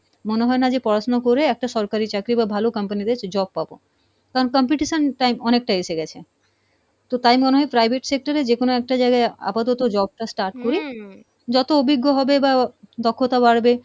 মনে হয় না যে পড়াশুনো করে একটা সরকারি চাকরি বা ভালো company তে job পাবো, কারণ competition time অনেকটা এসে গেছে। তো তাই মনে হয় private sector এ যেকোনো একটা জায়গায় আপাতত job টা start করি যত অভিজ্ঞ হবে বা দক্ষতা বাড়বে,